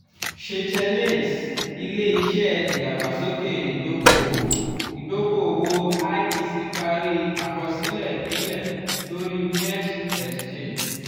seychelles: ile-iṣẹ idagbasoke idoko-owo idoko-owo (iec) pari àkọsílẹ̀ ìpínlẹ̀ lórí merj exchange